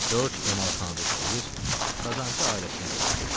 Corc emalxanada işləyir, qazancı ailəsinə görürdü.